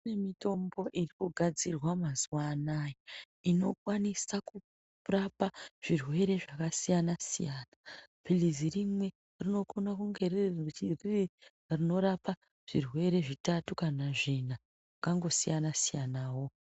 Kune mitombo iri kugadzirwa mazuwa anaya inokwanisa kurapa zvirwere zvakasiyana-siyana .Philizi rimwe rinokone kunge riri richi riri rinorapa zvirwere zvitatu kana zvina , zvakangosiyana-siyanawo.